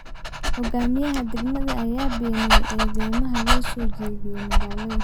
Hogaamiyaha degmada ayaa beeniyay eedeymaha loo soo jeediyay magaalada.